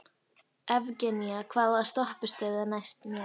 Evgenía, hvaða stoppistöð er næst mér?